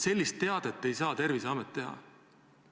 Sellist teadet ei tohiks Terviseamet välja saata!